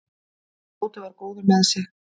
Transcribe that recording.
Tóti var góður með sig.